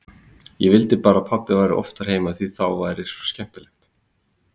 Ég vildi bara að pabbi væri oftar heima því þá er svo skemmtilegt.